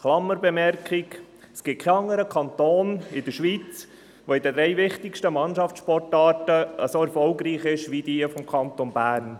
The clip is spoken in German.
Es gibt in der Schweiz keinen anderen Kanton, der in den drei wichtigsten Mannschaftssportarten so erfolgreich ist wie der Kanton Bern.